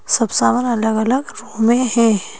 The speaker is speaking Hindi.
सब सामान अलग-अलग रूप में है।